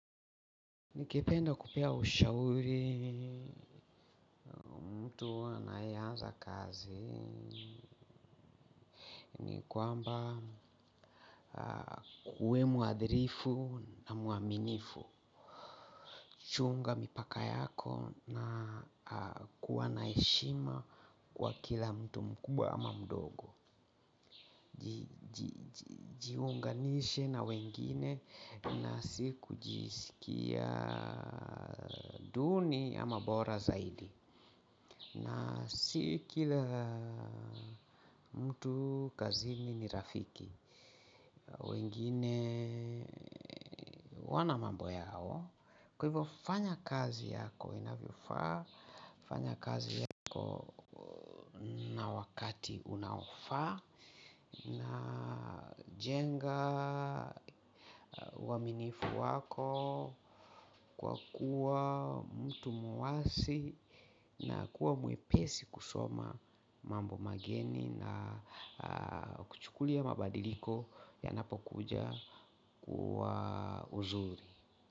Ningependa kupea ushauri mtu anayeanza kazi ni kwamba akuwe mwadrifu na mwaminifu. Chunga mipaka yako na kuwa na heshima kwa kila mtu mkubwa ama mdogo. Jiunganishe na wengine na si kujisikia duni ama bora zaidi. Na si kila mtu kazini ni rafiki. Wengine wana mambo yao. Kwa hivyo fanya kazi yako inavyofaa. Fanya kazi yako na wakati unaofaa. Najenga uaminifu wako kwa kuwa mtu mwasi na kuwa mwepesi kusoma mambo mageni na kuchukulia mabadiliko yanapokuja kwa uzuri.